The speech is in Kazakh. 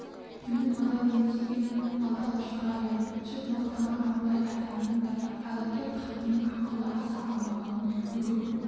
менің адал емес екенім алты алашқа аян жұрт мақтаған абылай атамның да айлакер қатыннан ақылы аса алмағанын бүкіл